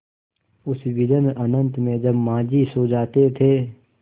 उस विजन अनंत में जब माँझी सो जाते थे